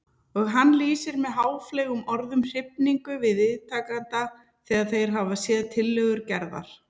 Og hann lýsir með háfleygum orðum hrifningu viðtakenda þegar þeir hafa séð tillögur Gerðar.